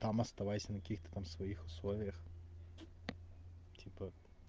там оставайся на каких-то там своих условиях типа